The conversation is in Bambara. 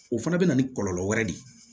O fana bɛ na ni kɔlɔlɔ wɛrɛ de ye